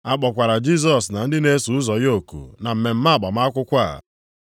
A kpọkwara Jisọs na ndị na-eso ụzọ ya oku na mmemme agbamakwụkwọ a.